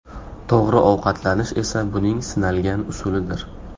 To‘g‘ri ovqatlanish esa buning sinalgan usulidir.